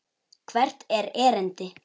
Hvert er erindi?